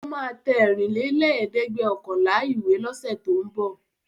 Ó máa ta ẹ̀rìnlélẹ́ẹ̀dẹ́gbẹ̀ọ̀kànlá ìwé lọ́sẹ̀ tó ń bọ̀.